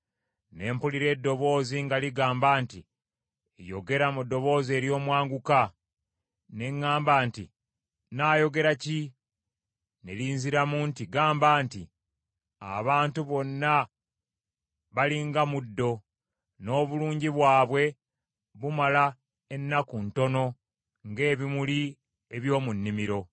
Ne mpulira eddoboozi nga ligamba nti, “Yogera mu ddoboozi ery’omwanguka.” Ne ŋŋamba nti, “Nnaayogera ki?” Ne linziramu nti, gamba nti, “Abantu bonna bali nga muddo, n’obulungi bwabwe bumala ennaku ntono ng’ebimuli eby’omu nnimiro.